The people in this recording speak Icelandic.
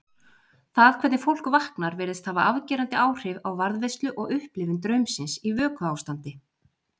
Það hvernig fólk vaknar virðist hafa afgerandi áhrif á varðveislu og upplifun draumsins í vökuástandi.